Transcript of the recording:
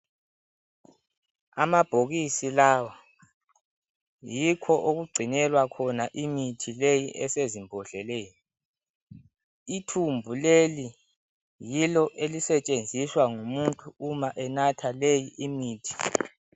Amabhokisi lawa, yikho okugcinelwa khona imithi leyi esezimbodleleni. Ithumbu leli yilo elisetshenziswa ngumuntu uma enatha leyi imithi.